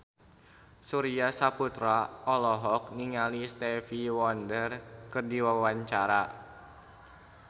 Surya Saputra olohok ningali Stevie Wonder keur diwawancara